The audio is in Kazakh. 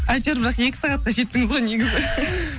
әйтеуір бірақ екі сағатқа жеттіңіз ғой негізі